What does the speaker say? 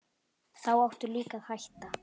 Þá áttu líka að hætta.